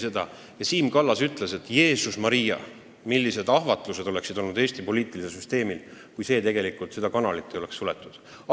Seal ütles Siim Kallas: "Jeesus Maria, millised ahvatlused oleksid olnud Eesti poliitilisel süsteemil, kui seda kanalit ei oleks suletud!